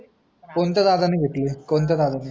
कोणत्या दादा ने घेतली आहे कोणत्या दादा ने घेतली